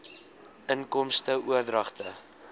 inkomste oordragte